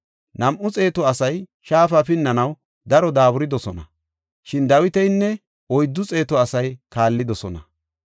Nam7u xeetu asay shaafa pinnanaw daro daaburidosona. Shin Dawitinne oyddu xeetu asay kaallidosona.